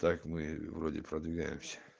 так мы вроде продвигаемся